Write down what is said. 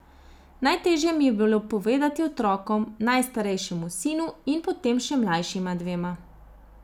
Najteže mi je bilo povedati otrokom, najstarejšemu sinu in potem še mlajšima dvema.